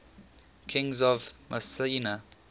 kings of mycenae